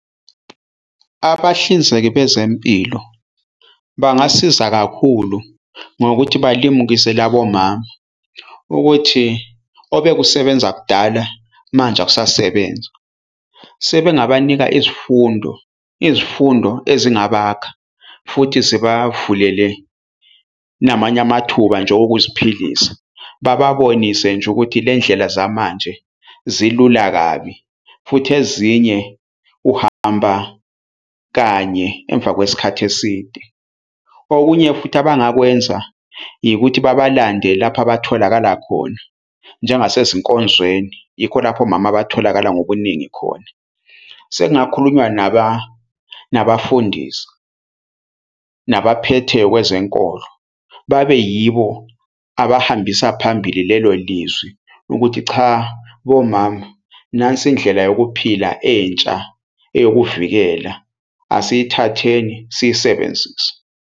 Abahlinzeki bezempilo bangasiza kakhulu ngokuthi balimukise labo mama ukuthi obekusebenza kudala manje akusasebenzi, sebengabanika izifundo. Izifundo ezingabakha futhi zibavulele namanye amathuba nje okuziphilisa, bababonise nje ukuthi le ndlela zamanje zilula kabi futhi ezinye uhamba kanye emva kwesikhathi eside. Okunye futhi abangakwenza ikuthi babalande lapho abatholakala khona njengasezinkonzweni yikho lapho omama abatholakali ngobuningi khona. Sekungakhulunywa nabafundisi, nabaphethe kwezenkolo babe yibo abahambisa phambili lelo lizwi ukuthi cha bomama nansi indlela yokuphila entsha eyokuvikela, asiyithatheni siyisebenzise.